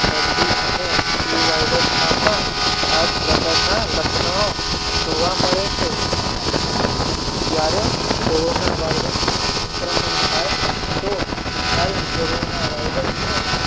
શરદી અને ફલ્યુ વાયરસમાં પણ આ જ પ્રકારના લક્ષણો જોવા મળે છે ત્યારે કોરોનાવાયરસનું સંક્રમણ થાય તો હાલ કોરોનાવાયરસ નો